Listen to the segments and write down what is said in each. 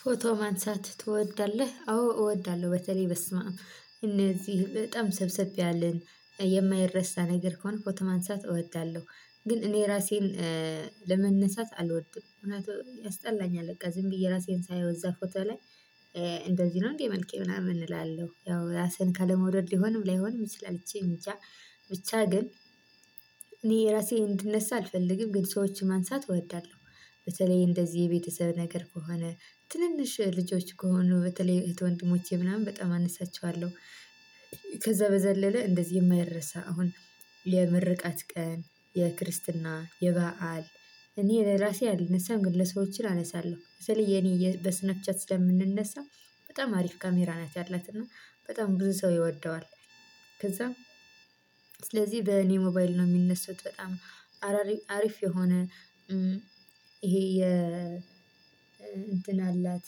ፎቶ ማንሳት ትወዳለህ አዎ እወዳለሁ በተለይ በስመአብ እነዚህ በጣም ሰብስብ ያልን የማይረሳ ነገር ከሆነ ፎቶ ማንሳት እወዳለሁ። ግን እኔ ራሴን ለመነሳት አልወድም። እውነት ያስጠላኛል በቃ ዝም ብዬ ራሴን ሳየው እዛ ፎቶ ላይ እንደዚህ ነው እንዴ መልኬ ምናምን እላለሁ። ያው ራስን ካለመውደድ ሊሆንም ላይሆንም ይችላል። እቺ ብቻ ግን እኔ እራሴ እንድነሳ አልፈልግም። ግን ሰዎችን ማንሳት እወዳለሁ። በተለይ እንደዚህ የቤተሰብ ነገር ከሆነ ትንንሽ ልጆች ከሆኑ በተለይ እህት ወንድሞቼ ምናምን በጣም አነሳቸዋለሁ። ከዛ በዘለለ እንደዚህ የማይረሳ አሁን የምርቃት ቀን የክርስትና የበአል እኔ ለራሴ አልነሳም ግን ለሰዎችን አነሳለሁ። ስለዚህ የኔ በስናፕ ቻት ስለምንነሳ በጣም አሪፍ ካሜራ ናት ያላት እና በጣም ብዙ ሰው ይወደዋል። ከዛም ስለዚህ በኔ ሞባይል ነው የሚነሱት። በጣም አራሪ አሪፍ የሆነ ይሄ የ እንትን አላት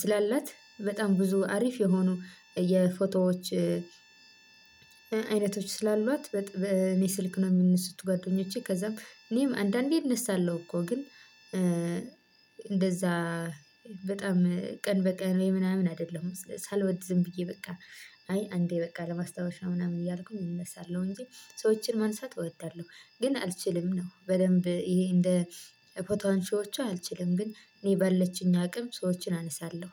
ስላላት በጣም ብዙ አሪፍ የሆኑ የፎቶዎች አይነቶች ስላሏት። በጣም እኔ ስልክ ነው የሚነሱት ጓደኞቼ ከዛም እኔም አንዳንዴ እነሳለሁ። እኮ ግን እንደዛ በጣም ቀን በቀን ወይ ምናምን አይደለሁም። ሳልወድዝም ብዬ በቃ አይ አንዴ በቃ ለማስታወሻ ምናምን እያልኩኝ እነሳለሁኝ እንጂ ሰዎችን ማንሳት እወዳለሁ። ግን አልችልም ነው በደንብ ይሄ እንደ ፎቶ አንሺዎቹ አልችልም ግን እኔ ባለቺኝ አቅም ሰዎችን አነሳለሁኝ።